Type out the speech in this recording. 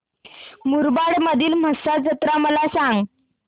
मुरबाड मधील म्हसा जत्रा मला सांग